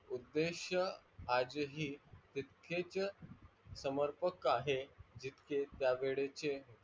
उद्देश आज ही तिथकेच समर्पक आहे जिथके त्या वेडेचे.